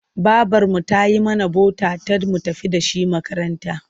Babarmu ta yi mana bota-tat mun tafi da shi makaranta.